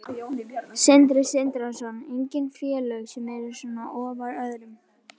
Sindri Sindrason: Engin félög sem eru svona ofar öðrum?